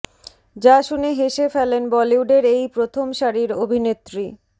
যা শুনে হেসে ফেলেন বলিউডের এই প্রথম সারির অভিনেত্রী